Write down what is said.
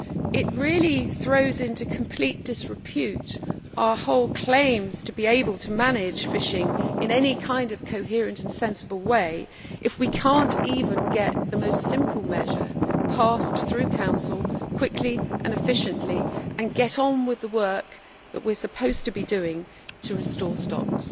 It really throws into complete disrepute all our claims to be able to manage fishing in any kind of coherent and sensible way if we cannot even get the most simple measure passed through Council quickly and efficiently and get on with the work that we are supposed to be doing to restore stocks.